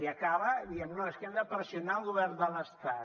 i acaba dient no és que hem de pressionar el govern de l’estat